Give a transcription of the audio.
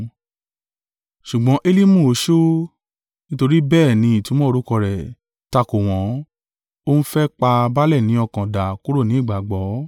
Ṣùgbọ́n Elimu oṣó (nítorí bẹ́ẹ̀ ni ìtumọ̀ orúkọ rẹ̀) takò wọ́n, ó ń fẹ́ pa baálẹ̀ ni ọkàn dà kúrò ni ìgbàgbọ́.